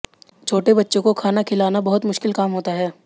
छोटे बच्चों को खाना खिलाना बहुत मुश्किल काम होता है